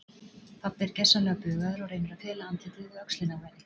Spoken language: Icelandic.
Pabbi er gersamlega bugaður og reynir að fela andlitið við öxlina á henni.